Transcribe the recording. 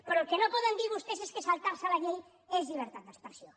però el que no poden dir vostès és que saltar se la llei és llibertat d’expressió